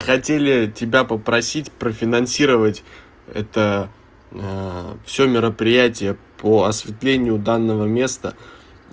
хотели тебя попросить профинансировать это всё мероприятия по осветлению данного места